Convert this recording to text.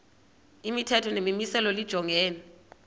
imithetho nemimiselo lijongene